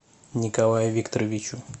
николаю викторовичу